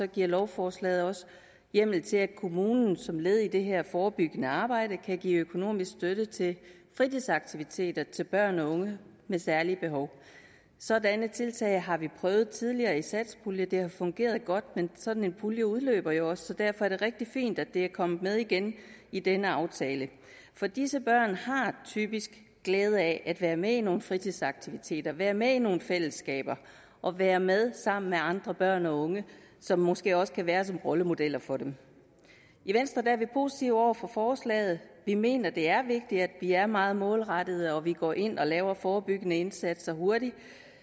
giver lovforslaget også hjemmel til at kommunen som led i det her forebyggende arbejde kan give økonomisk støtte til fritidsaktiviteter til børn og unge med særlige behov sådanne tiltag har vi prøvet tidligere i satspuljen og det har fungeret godt men sådan en pulje udløber jo også så derfor er det rigtig fint at det er kommet med igen i denne aftale for disse børn har typisk glæde af at være med i nogle fritidsaktiviteter være med i nogle fællesskaber og være med sammen med andre børn og unge som måske også kan være som rollemodeller for dem i venstre er vi positive over for forslaget vi mener det er vigtigt at vi er meget målrettede og at vi går ind og laver forebyggende indsatser hurtigt